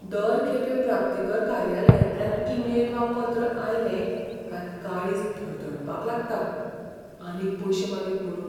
दर खेपे प्राप्तीकर कार्यालयांतल्यान ईमेल वा पत्र आयलें कांय काळीज धडधडपाक लागता, आनीक पयशे मागीत म्हुणून.